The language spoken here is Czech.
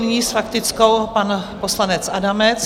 Nyní s faktickou pan poslanec Adamec.